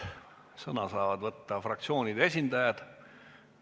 Sõna saavad võtta fraktsioonide esindajad.